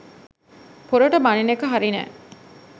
පොරට බණින එක හරි නෑ